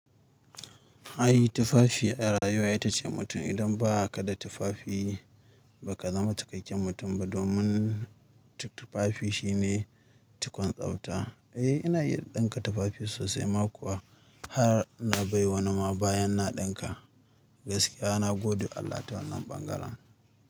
Ai tufafi a rayuwa ita ce mutum. Idan ba ka da tufafi, ba ka zama cikakken mutum ba. Domin tufafi shi ne tukun tsabta. Eh, ina iya ɗinka tufafi sosai, ma kuwa har na bai wa wanima bayan na ɗinka. Gaskiya, na godewa Allah ta wannan ɓangaren.